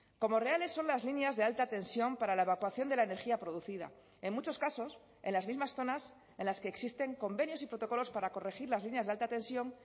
como reales son las líneas de alta tensión para la evacuación de la energía producida en muchos casos en las mismas zonas en las que existen convenios y protocolos para corregir las líneas de alta tensión